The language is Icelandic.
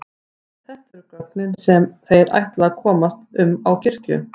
Þetta eru göngin sem þeir ætla að komast um á kirkju.